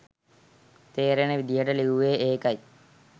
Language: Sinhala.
තේරෙන විදිහට ලිවුවේ ඒකයි.